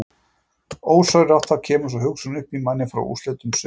Ósjálfrátt þá kemur sú hugsun í mann útfrá úrslitum sumarsins.